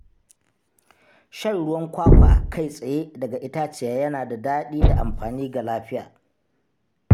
Shan ruwan kwakwa kai tsaye daga itaciya yana da daɗi da amfani ga lafiya.